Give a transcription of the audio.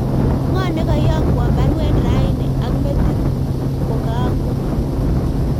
Ngo nego iyok won baruet raini ak metit kogango